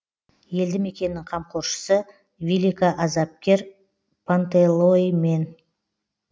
елді мекеннің қамқоршысы великоазапкер пантелеимон